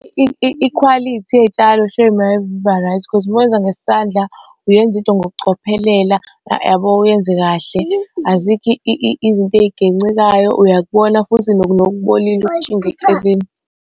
Ikhwalithi yey'tshalo shame uma wenza ngesandla, uyenza into ngokucophelela yabo uyenze kahle. Azikho izinto ey'gencekayo, uyakubona futhi nokubolile ukutshinge eceleni.